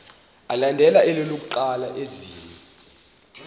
alandela elokuqala izenzi